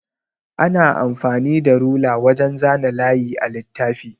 Ana amfani da rula wajan zana layi a littafi.